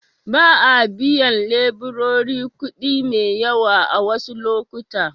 Ba a biyan leburori kuɗi mai yawa a wasu lokuta.